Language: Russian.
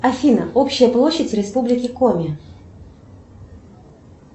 афина общая площадь республики коми